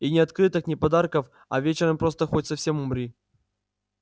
и ни открыток ни подарков а вечером просто хоть совсем умри